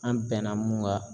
An bɛnna mun kan